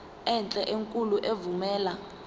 enhle enkulu evumela